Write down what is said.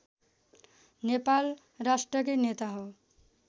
नेपाल राष्ट्रकै नेता हो